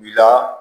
Bila